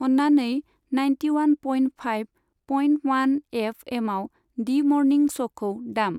अन्नानै ninety one point five point one F एमाव डि मरनिं श'खौ दाम।